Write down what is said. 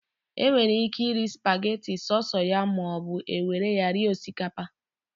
E nwere ike iri spageti so so ya maọbụ, e were ya rie osikapa